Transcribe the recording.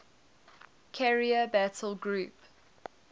carrier battle group